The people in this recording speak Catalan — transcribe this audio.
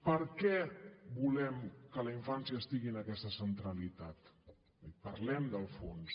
per què volem que la infància estigui en aquesta centralitat parlem del fons